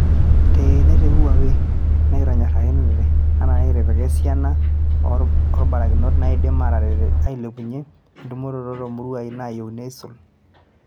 Teene te Huawei, nekitonyorakitia ena nekitipika esiana oo barakinot naaidim ataret ailepunye entumoroto too muruai naayieuni aisul.